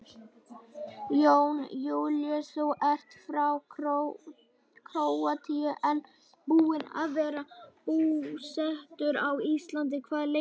Jón Júlíus: Þú ert frá Króatíu en búinn að vera búsettur á Íslandi hvað lengi?